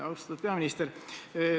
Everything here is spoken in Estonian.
Austatud peaminister!